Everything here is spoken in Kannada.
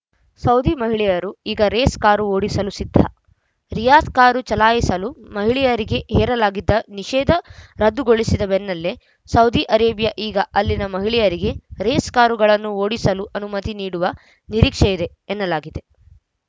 ಸೌದಿ ಮಹಿಳೆಯರು ಈಗ ರೇಸ್‌ ಕಾರು ಓಡಿಸಲೂ ಸಿದ್ಧ ರಿಯಾದ್‌ ಕಾರು ಚಲಾಯಿಸಲು ಮಹಿಳೆಯರಿಗೆ ಹೇರಲಾಗಿದ್ದ ನಿಷೇಧ ರದ್ದುಗೊಳಿಸಿದ ಬೆನ್ನಲ್ಲೇ ಸೌದಿ ಅರೇಬಿಯಾ ಈಗ ಅಲ್ಲಿನ ಮಹಿಳೆಯರಿಗೆ ರೇಸ್‌ ಕಾರುಗಳನ್ನೂ ಓಡಿಸಲು ಅನುಮತಿ ನೀಡುವ ನಿರೀಕ್ಷೆಯಿದೆ ಎನ್ನಲಾಗಿದೆ